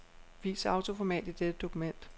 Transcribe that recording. Vis autoformat i dette dokument.